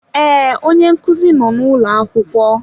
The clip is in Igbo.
Ee, onye nkuzi nọ n'ụlọ akwụkwọ.